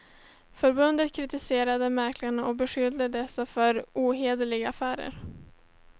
Förbundet kritiserade mäklarna och beskyllde dessa för ohederliga affärer.